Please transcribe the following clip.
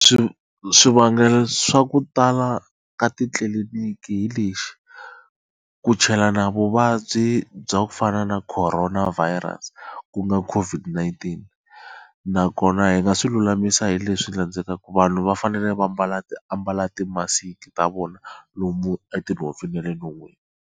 swivangelo swa ku tala ka titliliniki hi lexi ku chelana vuvabyi bya ku fana na Corona virus ku nga ka COVID-19 nakona hi nga swi lulamisa hileswi landzelaka vanhu va fanele va mbala ambala ti-musk ta vona lomu etinhompfini na le non'wini.